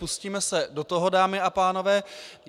Pustíme se do toho, dámy a pánové.